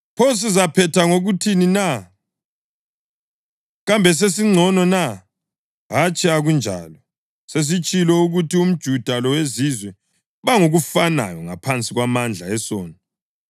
Pho sizaphetha ngokuthini na? Kambe sesingcono na? Hatshi akunjalo! Sesitshilo ukuthi umJuda loweZizwe bangokufanayo ngaphansi kwamandla esono.